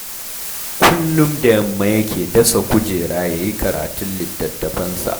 Kullum da yamma yake dasa kujera ya yi karatun littattafansa